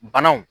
Banaw